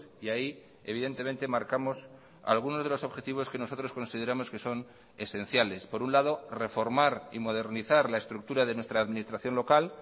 y ahí evidentemente marcamos algunos de los objetivos que nosotros consideramos que son esenciales por un lado reformar y modernizar la estructura de nuestra administración local